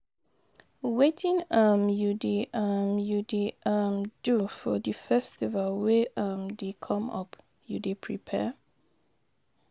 Wetin um you dey um you dey um do for di festival wey um dey come up, you dey prepare?